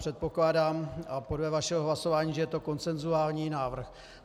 Předpokládám, a podle vašeho hlasování, že je to konsenzuální návrh.